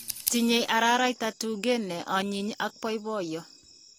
Tinyei araraita tuge nionyiny ak poipoiyo.